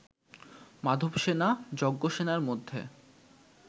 মাধবসেনা, যজ্ঞসেনার মধ্যে